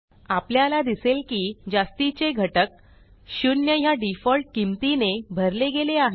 आपल्याला दिसेल की जास्तीचे घटक 0 ह्या डिफॉल्ट किंमतीने भरले गेले आहेत